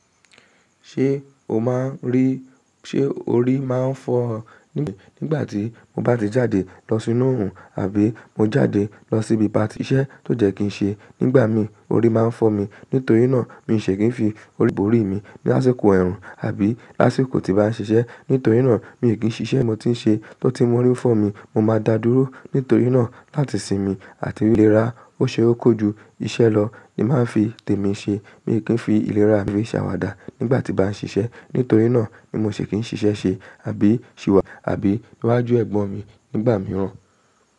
Ṣé o máa ń rí, ṣe orí máa ń fọ́ ọ? Nígbà tí mo bá ti jáde lọ sínú oòrùn àbí mo jáde lọ síbi patí ṣẹ́ tó jẹ́ kí n ṣe, nígbà mi orí máa ń fọ́ mi. Nítorí náà mi ṣe kí n fi orí borí mi lásìkò ẹ̀rùn àbí lásìkò tí baa n ṣiṣẹ́. Nítorí náà mi kí n ṣiṣẹ́ mo ti ń ṣe tó tíì mọ orí fọ́ mi. Mo máa dá dúró, nítorí náà láti sinmi àti ilérà ó ṣe ó kò ju iṣẹ́ lọ ni màá fi tèmi ṣe. Mi kí n fi ìlera mi ṣàwàdà nígbà tí baa n ṣiṣẹ́. Nítorí náà ni mo ṣì fí í ṣiṣẹ́ ṣe àbí ṣì wá àbí níwájú ẹ̀gbọ́n mi nígbà mìíràn.